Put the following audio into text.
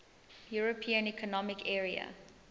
european economic area